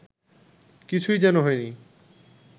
কিছুই যেন হয় নি